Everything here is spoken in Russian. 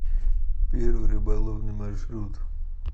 первый рыболовный маршрут